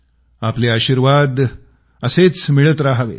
आपले आशीर्वाद असेच मिळत रहावेत